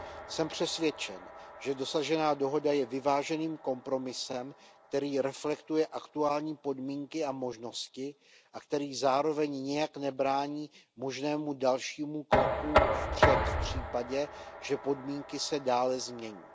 Jsem přesvědčen, že dosažená dohoda je vyváženým kompromisem, který reflektuje aktuální podmínky a možnosti a který zároveň nijak nebrání možnému dalšímu kroku vpřed v případě, že podmínky se dále změní.